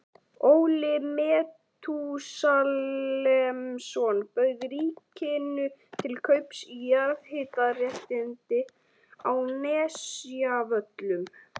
Óli Metúsalemsson bauð ríkinu til kaups jarðhitaréttindi á Nesjavöllum.